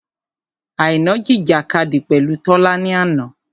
Àìná jìjìkadì pẹ̀lú Tọ́lá ni àná.